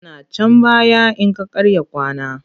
Yana can baya in ka karya kwana.